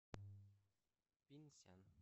пинсян